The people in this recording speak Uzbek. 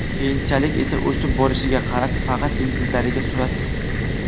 Keyinchalik esa o‘sib borishiga qarab, faqat ildizlariga surasiz.